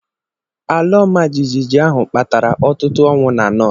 Ala ọmajiji ahụ kpatara ọtụtụ ọnwụ na North.